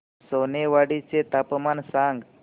सोनेवाडी चे तापमान सांग